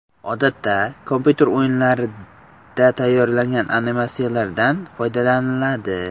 Odatda kompyuter o‘yinlarida tayyor animatsiyalardan foydalaniladi.